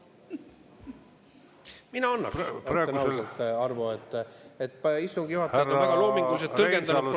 Mina annaks, ütlen ausalt, Arvo, et istungi juhataja on väga loominguliselt tõlgendanud protseduuri.